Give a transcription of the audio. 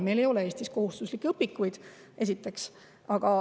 Meil ei ole Eestis kohustuslikke õpikuid, esiteks.